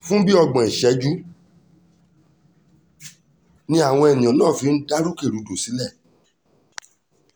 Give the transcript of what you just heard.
fún bíi ọgbọ̀n ìṣẹ́jú làwọn èèyàn náà fi dá rúkèrúdò sílẹ̀